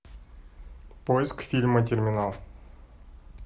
поиск фильма терминал